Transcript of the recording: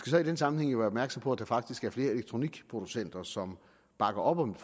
så i den sammenhæng være opmærksom på at der faktisk er flere elektronikproducenter som bakker op om